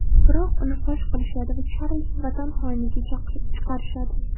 Biroq uni fosh qilishadi va Charlz vatan xoiniga chiqarishadi.